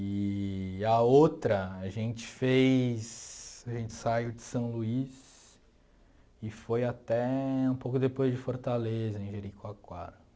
E a outra, a gente fez a gente saiu de São Luís e foi até um pouco depois de Fortaleza, em Jericoacoara.